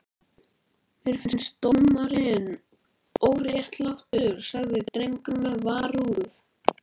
Mér finnst dómurinn óréttlátur, sagði drengurinn með varúð.